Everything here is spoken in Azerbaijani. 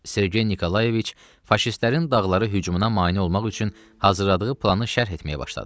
Sergey Nikolayeviç faşistlərin dağlara hücumuna mane olmaq üçün hazırladığı planı şərh etməyə başladı.